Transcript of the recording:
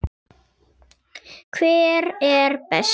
Hver er bestur?